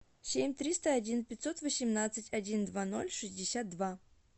семь триста один пятьсот восемнадцать один два ноль шестьдесят два